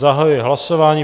Zahajuji hlasování.